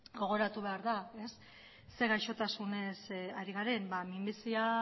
gogoratu behar da zein gaixotasunez ari garen minbizia